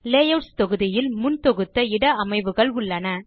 layouts தொகுதியில் முன்தொகுத்த இட அமைவுகள் உள்ளன